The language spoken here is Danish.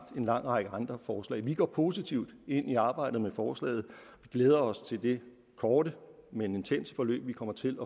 en lang række andre forslag vi går positivt ind i arbejdet med forslaget og glæder os til det korte men intense forløb vi kommer til